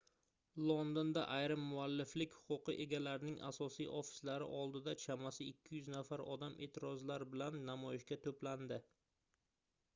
londonda ayrim mualliflik huquqi egalarining asosiy ofislari oldida chamasi 200 nafar odam eʼtirozlar bilan namoyishga toʻplandi